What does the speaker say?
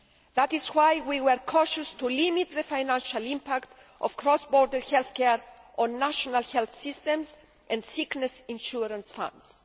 That is why we were cautious to limit the financial impact of cross border health care on national health systems and sickness insurance funds.